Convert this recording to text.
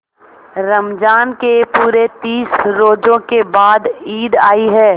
रमज़ान के पूरे तीस रोजों के बाद ईद आई है